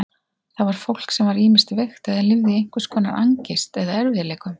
Það var fólk sem var ýmist veikt eða lifði í einhvers konar angist eða erfiðleikum.